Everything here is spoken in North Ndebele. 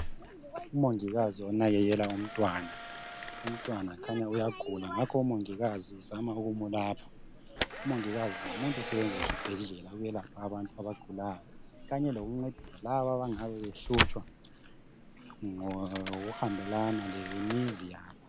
Umongikazi onakekela umntwana. Umntwana kukhanya uyagula ngakho umongikazi uzama ukumulapha. Umongikazi ngumuntu osebenza esibhedlela ukwelapha abantu abagulayo kanye lokuncedisa laba abangabe behlutshwa ngokuhambelana lemizi yabo.